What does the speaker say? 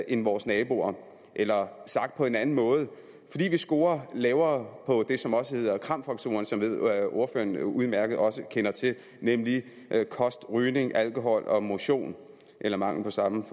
end vores naboer eller sagt på en anden måde fordi vi scorer lavere på det som også hedder kram faktoren som jeg ved at ordføreren også udmærket kender til nemlig kost rygning alkohol og motion eller mangel på samme